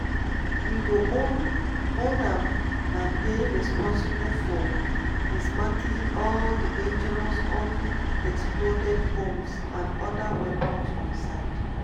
we go own own am and dey responsible for dismantling all di dangerous unexploded bombs and oda weapons on site.